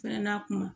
Fɛnɛ n'a kuma